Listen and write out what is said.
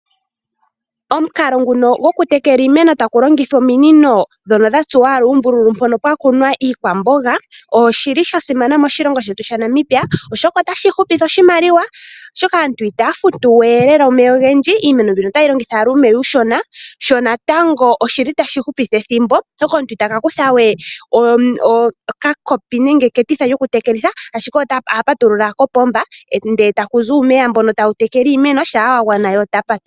Omukalo nguno gokutekela iimeno taku longithwa ominino dhono dha tsuwaala uumbululu mpono pwakuna iikwamboga, oshili shasimana moshilongo shetu Namibia oshoka otashi hupitha oshimaliwa oshoka aantu itaya futuwe lela omeya ogendji iimeno mbino otayi longitha uumeya uushona, sho natango oshili tashi hupitha ethimbo oshoka omuntu itaka kuthawe okakopi nenge eketitha lyokutekelitha ashike oha patulula kopomba ndee takuzi uumeya mbono tawu tekele iimeno shampa wagwana, ye otapa ko.